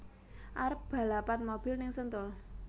Arep balapan mobil ning Sentul